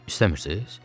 İstəmirsiz?